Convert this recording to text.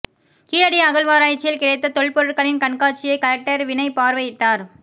கீழடி அகழ்வாராய்ச்சியில் கிடைத்த தொல் பொருட்களின் கண்காட்சியை கலெக்டர் வினய் பார்வையிட்டார்